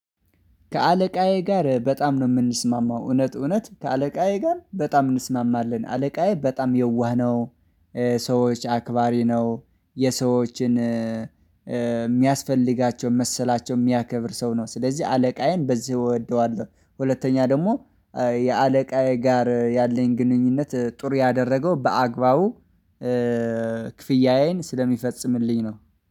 ከአለቃዬ ጋር በጣም ነው የምንስማማው እውነት እውነት ከአለቃዬ ጋር በጣም እንስማማለን አለቃዬ በጣም የዋህ ነው። ሰዎች አክባሪ ነው። የሰዎችን እሚያስፈልጋቸው መሰላቸው የሚያከብር ሰው ነው ስለዚህ አለቃዬን በዚህ እወደዋለሁ። ሁለተኛ ደግሞ የአለቃዬ ጋር ያለኝ ግንኙነት ጥሩ ያደረገው በአግባቡ። ክፍያዬን ስለሚፈጽምልኝ ነው